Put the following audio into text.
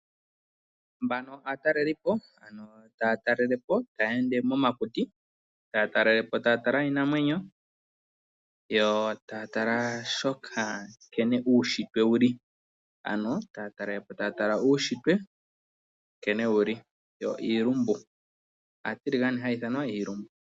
Mbana aatalelipo ano taya talelepo, taya ende momakuti, taya talelepo taya tala iinamwenyo yo taya tala shoka nkene uushitwe wuli ano taya talelapo taya tala uushitwe nkene wuli yo iilumbu, aatiligane haya iithanwa iilumbu.